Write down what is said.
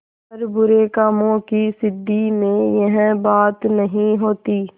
पर बुरे कामों की सिद्धि में यह बात नहीं होती